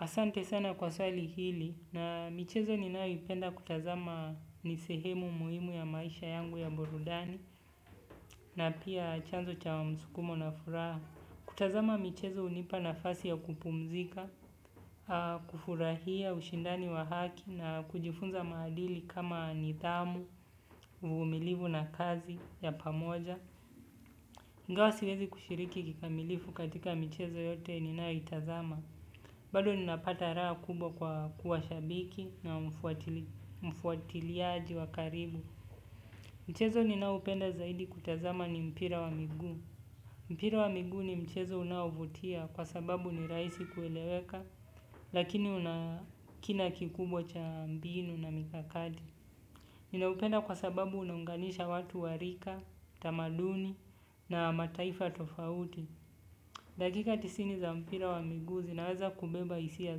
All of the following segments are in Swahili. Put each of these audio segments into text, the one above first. Asante sana kwa swali hili na michezo ninaoipenda kutazama nisehemu muhimu ya maisha yangu ya burudani na pia chanzo cha wa msukumo na furaha. Kutazama michezo unipa na fasi ya kupumzika, kufurahia, ushindani wa haki na kujifunza maadili kama nithamu, uvumilivu na kazi ya pamoja. Ingao siwezi kushiriki kikamilifu katika michezo yote ninaoitazama. Bado ninapata raa kubwa kwa kuwa shabiki na mfuatiliaji wa karibu. Mchezo ninahupenda zaidi kutazama ni mpira wa migu. Mpira wa migu ni mchezo unahovutia kwa sababu ni raisi kueleweka lakini una kina kikubwa cha mbinu na mikakati. Ninahupenda kwa sababu unaunganisha watu warika, tamaduni na mataifa tofauti. Dakika tisini za mpira wa migu zinaweza kubeba isiya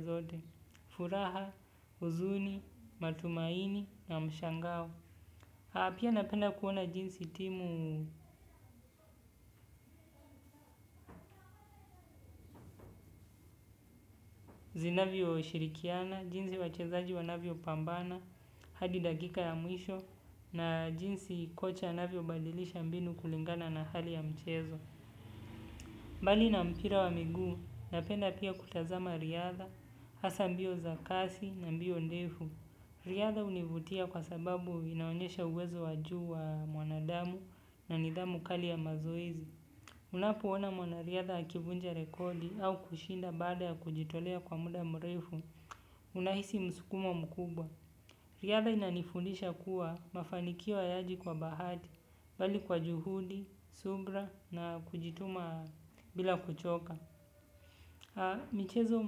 zote, furaha, uzuni, matumaini, na mshangao. Apia napenda kuona jinsi timu zinavyo shirikiana, jinsi wachezaji wanavyo pambana, hadi dakika ya mwisho, na jinsi kocha navyo badilisha mbinu kulingana na hali ya mchezo. Mbali na mpira wa migu, napenda pia kutazama riadha, hasa mbio za kasi na mbio ndefu. Riadha univutia kwa sababu inaonyesha uwezo waju wa mwanadamu na nidhamu kali ya mazoezi. Unapoona mwanariadha akivunja rekodi au kushinda bada ya kujitolea kwa muda mrefu, unahisi msukumo mkubwa. Riadha inanifundisha kuwa mafanikiwo hayaji kwa bahati, bali kwa juhudi, subira na kujituma bila kuchoka. Michezo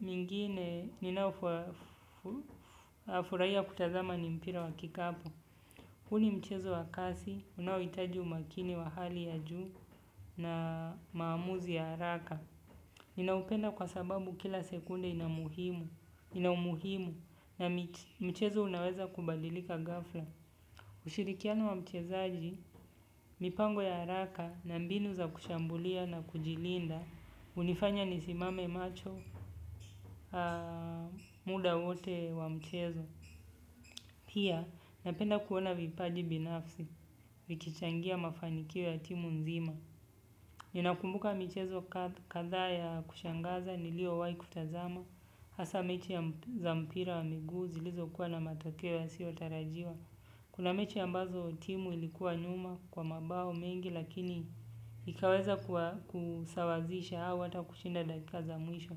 mingine ninaofurahia kutazama ni mpira wa kikapu. Huni mchezo wa kasi, unaowitaji umakini wa hali ya juu na maamuzi ya haraka. Ninaupenda kwa sababu kila sekunde inamuhimu na mchezo unaweza kubalilika gafla. Usirikiano wa mchezaaji, mipango ya haraka na mbinu za kushambulia na kujilinda, unifanya nisimame macho muda wote wa mchezo. Pia, napenda kuona vipaji binafsi, vikichangia mafanikio ya timu nzima. Ninakumbuka michezo kadhaa ya kushangaza, niliyowahi kutazama, hasa mechi za mpira wa miguu zilizokuwa na matokeo yasiyotarajiwa. Kuna mechi ambazo timu ilikuwa nyuma kwa mabao mengi lakini ikaweza kusawazisha au hata kushinda dakika za mwisho.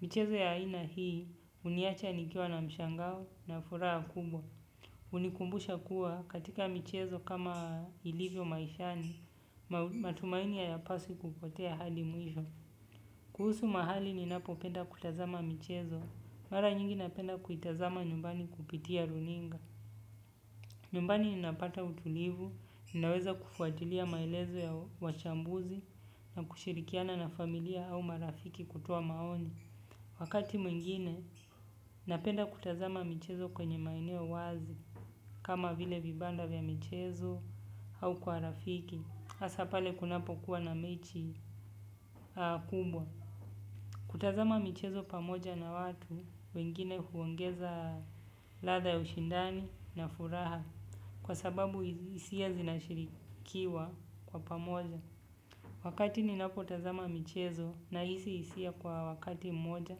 Michezo ya aina hii huniacha nikiwa na mshangao na furaha kubwa. Hunikumbusha kuwa katika michezo kama ilivyo maishani matumaini hayafai kupotea hadi mwisho. Kuhusu mahali ninapopenda kutazama michezo. Mara nyingi napenda kuitazama nyumbani kupitia runinga. Nyumbani ninapata utulivu, ninaweza kufuatilia maelezo ya wachambuzi na kushirikiana na familia au marafiki kutoa maoni. Wakati mwingine, napenda kutazama michezo kwenye maeneo wazi, kama vile vibanda vya michezo au kwa rafiki. Hasa pale kunapokuwa na mechi kubwa. Kutazama michezo pamoja na watu, wengine huongeza ladha ya ushindani na furaha kwa sababu hisia zinashirikiwa kwa pamoja, wakati ninapotazama michezo nahisi hisia kwa wakati mmoja.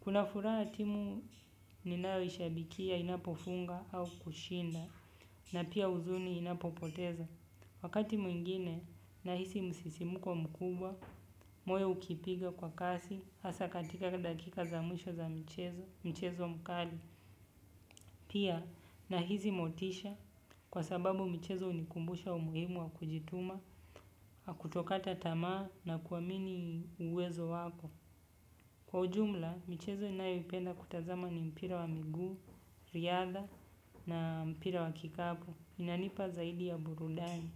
Kuna furaha timu ninayoishabikia inapofunga au kushinda na pia huzuni inapopoteza. Wakati mwingine nahisi msisimuko mkubwa, moyo ukipiga kwa kasi, hasa katika dakika za mwisho za mchezo mkali. Pia, nahisi motisha kwa sababu michezo hunikumbusha umuhimu wa kujituma, na kutokata tamaa na kuamini uwezo wako. Kwa ujumla, michezo ninayoipenda kutazama ni mpira wa miguu, riadha na mpira wa kikapu. Inanipa zaidi ya burudani.